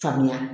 Faamuya